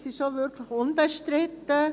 Das ist auch wirklich unbestritten.